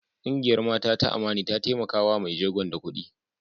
Kungiyar Mata ta Amani ta taimaka wa mai jegon da kudi.